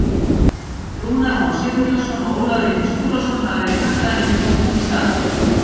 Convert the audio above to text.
Rúnar Már Sigurjónsson og Ólafur Ingi Skúlason hafa verið kallaðir inn í hópinn í stað.